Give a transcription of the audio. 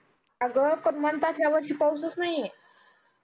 आग पण म्हणतात यावर्षी पाऊसच नाही आहे